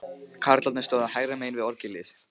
Karlarnir stóðu hægra megin við orgelið.